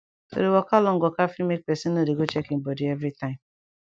to dey waka long waka fit make pesin no dey go check e bodi everi tym